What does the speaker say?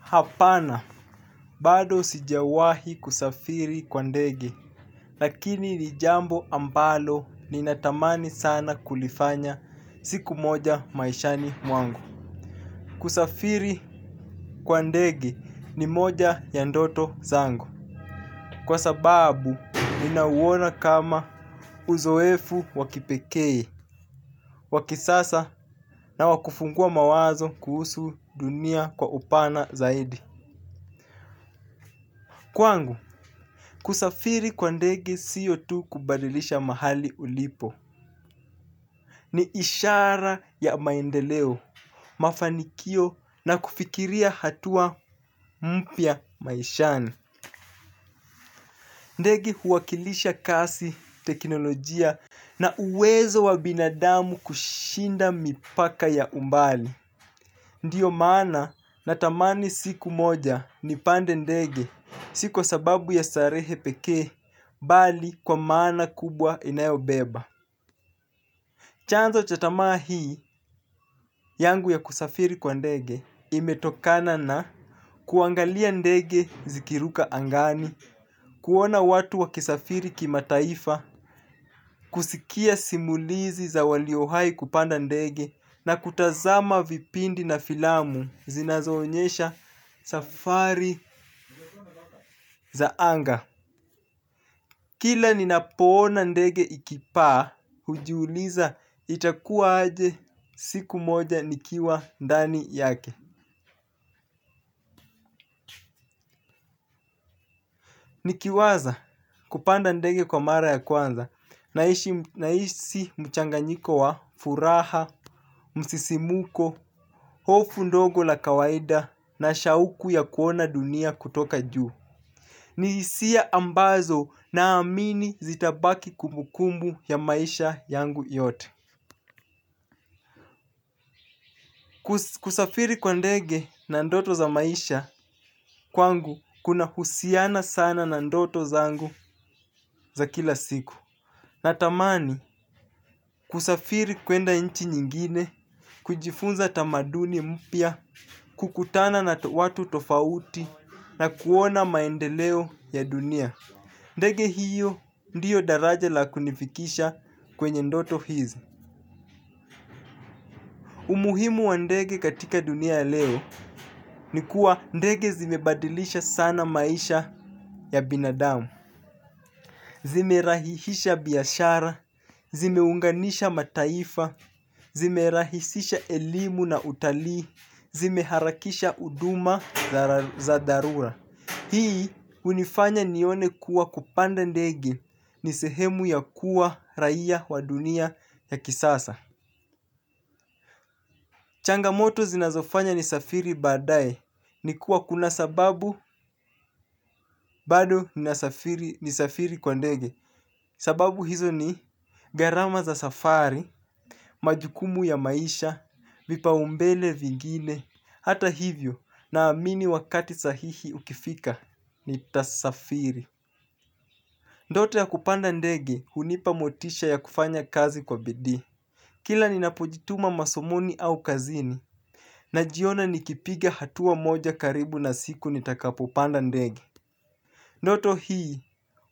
Hapana, bado sijawahi kusafiri kwa ndege, lakini ni jambo ambalo ninatamani sana kulifanya siku moja maishani mwangu. Kusafiri kwa ndege ni moja ya ndoto zangu. Kwa sababu, ninauona kama uzoefu wa kipekee, wa kisasa na wakufungua mawazo kuhusu dunia kwa upana zaidi. Kwangu, kusafiri kwa ndege siyo tu kubadilisha mahali ulipo. Ni ishara ya maendeleo, mafanikio na kufikiria hatua mpya maishani. Ndege huakilisha kasi, teknolojia na uwezo wa binadamu kushinda mipaka ya umbali. Ndiyo maana natamani siku moja nipande ndege si ku sababu ya starehe peke bali kwa maana kubwa inayo beba chanzo cha tamaa hii yangu ya kusafiri kwa ndege imetokana na kuangalia ndege ikiruka angani. Kuona watu wa kisafiri kima taifa, kusikia simulizi za walio wahi kupanda ndege na kutazama vipindi na filamu zinazoonyesha safari za anga. Kila ninapona ndege ikipaa, hujiuliza itakuwa aje siku moja nikiwa ndani yake. Ni kiwaza kupanda ndege kwa mara ya kwanza na hisi mchanganyiko wa furaha, msisimuko, hofu ndogo la kawaida na shauku ya kuona dunia kutoka juu. Ni hisia ambazo naamini zitabaki kumukumbu ya maisha yangu yote. Kusafiri kwa ndege na ndoto za maisha kwangu kuna husiana sana na ndoto zangu za kila siku. Natamani kusafiri kwenda nchi nyingine, kujifunza tamaduni mpya, kukutana na watu tofauti na kuona maendeleo ya dunia. Ndege hiyo ndiyo daraja la kunifikisha kwenye ndoto hizi. Umuhimu wa ndege katika dunia leo ni kuwa ndege zimebadilisha sana maisha ya binadamu. Zimerahihisha biashara, zimeunganisha mataifa, zimerahisisha elimu na utalii, zimeharakisha huduma za dharura. Hii hunifanya nione kuwa kupanda ndege ni sehemu ya kuwa raia wa dunia ya kisasa. Changamoto zinazofanya nisafiri badaye, ni kuwa kuna sababu bado ni safiri kwa ndege. Sababu hizo ni gharama za safari, majukumu ya maisha, vipa umbele vingine, hata hivyo na amini wakati sahihi ukifika ni tasafiri. Ndoto ya kupanda ndege hunipa motisha ya kufanya kazi kwa bidi. Kila ni napojituma masomoni au kazini na jiona nikipiga hatua moja karibu na siku nitakapopanda ndegi. Noto hii